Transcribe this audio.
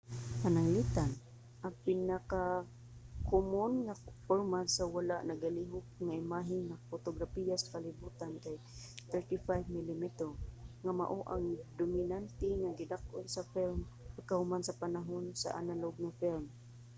pananglitan ang pinakakomon nga format sa wala nagalihok nga imahe nga potograpiya sa kalibutan kay 35 milimetro nga mao ang dominante nga gidak-on sa film pagkahuman sa panahon sa analog nga film